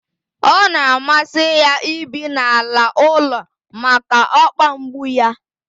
Ọ na amasi ya ibi n'ala ụlọ maka okpa mgbu yá